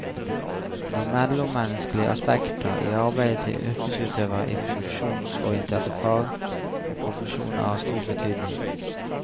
De mellommenneskelige aspekter i arbeidet til yrkesutøverne i funksjonsorienterte fag og profesjoner har stor betydning.